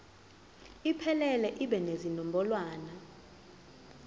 iphelele ibe nezinombolwana